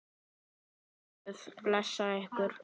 Megi Guð blessa ykkur öll.